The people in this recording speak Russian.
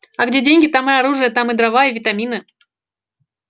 а где деньги там и оружие там и дрова и витамины